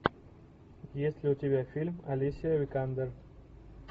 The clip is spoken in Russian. есть ли у тебя фильм алисия викандер